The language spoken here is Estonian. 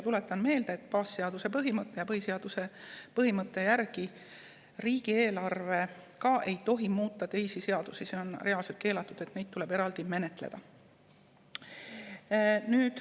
Tuletan meelde, et baasseaduse ja põhiseaduse põhimõtte järgi riigieelarve ei tohi muuta teisi seadusi, see on keelatud, ja neid asju tuleb eraldi menetleda.